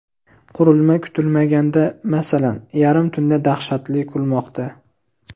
Qurilma kutilmaganda, masalan, yarim tunda dahshatli kulmoqda.